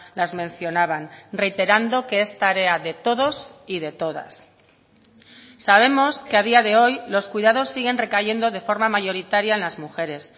las mencionaban reiterando que es tarea de todos y de todas sabemos que a día de hoy los cuidados siguen recayendo de forma mayoritaria en las mujeres